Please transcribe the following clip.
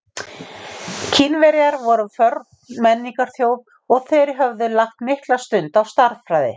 kínverjar voru forn menningarþjóð og þeir höfðu lagt mikla stund á stærðfræði